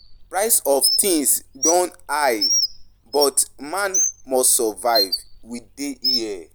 Prices of of things don high but man must survive, we dey here.